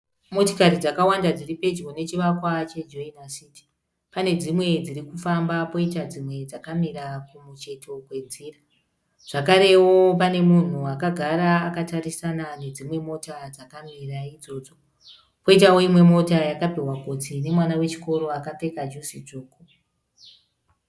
Motikari dzakawanda dziri pedyo nechivakwa cheJoina city. Pane dzimwe dziri kufamba poita dzimwe dzakamira kumucheto kwenzira, zvakarewo pane munhu akagara akatarisana nedzimwe mota dzakamira idzodzo. Poitawo imwe mota yakapihwa gotsi nemwana wechikoro akapfeka juzi dzvuku.